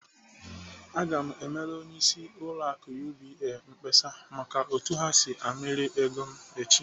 Aga m emere onyeisi ụlọ akụ UBA mkpesa maka otu ha si amịrị ego m echi!